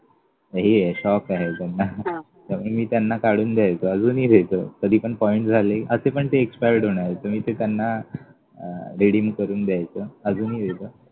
हे आहे shock आहे त्याना तर मी त्याना काढून द्यायचो अजूनही देतो कधी पण points झाले असं पण ते expired होणार तर मग मी त्याना अं redeem करून द्यायचो अजूनही देतो.